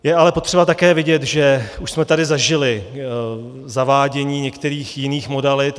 Je ale potřeba také vidět, že už jsme tady zažili zavádění některých jiných modalit.